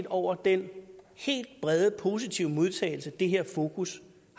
over den helt brede positive modtagelse det her fokus